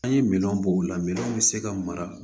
An ye minɛn bɔ o la minɛnw bɛ se ka mara